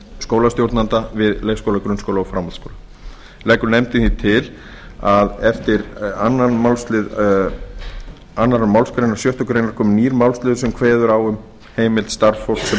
skólastjórnenda við leikskóla grunnskóla og framhaldsskóla leggur nefndin því til að á eftir annað málsl annarri málsgrein sjöttu grein komi nýr málsliður sem kveður á um heimild starfsfólks sem ekki hefur